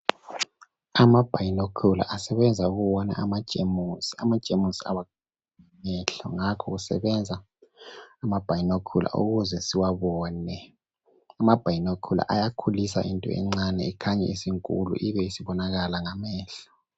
ama binocular asebenza ukubona ama jemusi amajemusi abonwa ngamehlo ngakho kusebenza ama binocular ukuze siwabone ama binocular ayakhulisa into encane ikhanye isinkulu ibe isibonakala ngamehlo